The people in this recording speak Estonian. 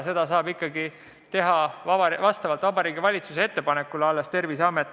Seda saab Terviseamet teha alles vastavalt Vabariigi Valitsuse ettepanekule.